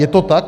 Je to tak?